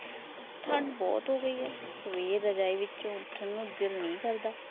ਠੰਡ ਬਹੁਤ ਹੋ ਗਈ ਹੈ, ਸਵੇਰ ਰਜਾਇ ਵਿੱਚੋਂ ਉੱਠਣ ਨੂੰ ਦਿਲ ਨੀ ਕਰਦਾ